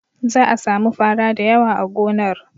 Za a sami fara da yawa a gonar.